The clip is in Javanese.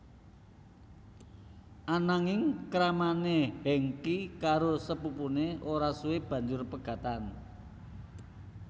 Ananging kramané Hengky karo sepupuné ora suwe banjur pegatan